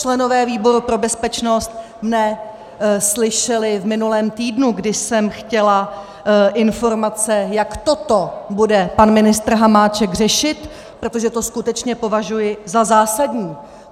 Členové výboru pro bezpečnost mě slyšeli v minulém týdnu, kdy jsem chtěla informace, jak toto bude pan ministr Hamáček řešit, protože to skutečně považuji za zásadní.